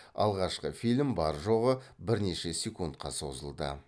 алғашқы фильм бар жоғы бірнеше секундқа созылды